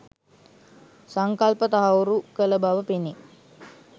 සංකල්ප තහවුරු කළ බව පෙනේ.